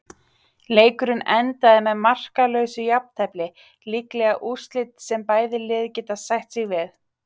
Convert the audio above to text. Leikurinn endaði með markalausu jafntefli, líklega úrslit sem bæði lið geta sætt sig við.